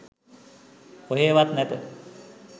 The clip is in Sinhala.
කොහේවත් නැත